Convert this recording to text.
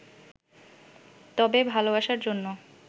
তবে ভালোবাসার জন্য